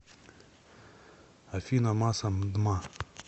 афина масса мдма